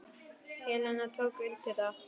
Helena tók undir það.